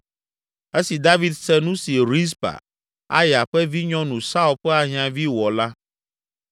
Esi David se nu si Rizpa, Aya ƒe vinyɔnu, Saul ƒe ahiãvi wɔ la,